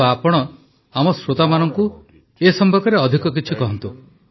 କିନ୍ତୁ ଆପଣ ଆମ ଶ୍ରୋତାବନ୍ଧୁମାନଙ୍କୁ ଅଧିକ କିଛି କୁହନ୍ତୁ